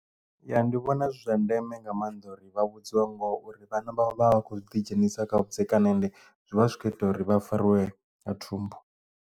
Ya ndi vhona zwi zwa ndeme nga maanḓa uri vha vhudziwe ngori vhana vha vha vha khou ḓidzhenisa kha vhudzekani and zwi vha zwi kho ita uri vha fariwe nga thumbu.